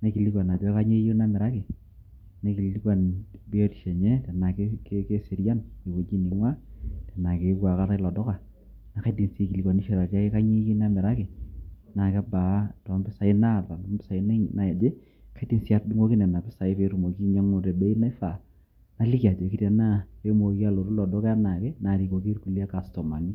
naikilikuan ajoki kanyio eyieu namiraki, naikilikuan biotisho enye tenaa keserian te wueji neing'ua tenaa keyewuo aikata ilo duka naa kaidim sii aikilikuanishore ake kanyio eyieu namiraki, naa kebaa too mpisai naata amu mpisai naaje, paidim sii atudung'oki Nena pisai peetumoki ainyiang'u tebei naifaa naliki ajoki tenaa pee mooki alotu ilo duka enaake naarikikoki kulie kastomani .